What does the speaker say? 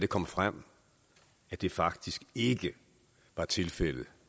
kom frem at det faktisk ikke var tilfældet